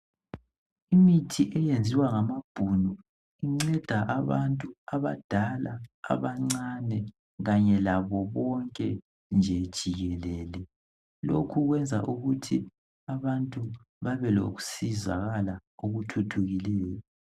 Imithi eyenziwa ngamabhunu inceda abantu abadala abancane .Kanye labo bonke nje jikelele. Lokhu kwenza ukuthi abantu babelokusizakala okuthuthukileyo